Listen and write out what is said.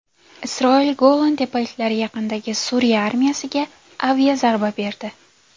Isroil Golan tepaliklari yaqinidagi Suriya armiyasiga aviazarba berdi.